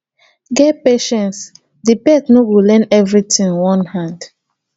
get patience di pet no go learn everything one hand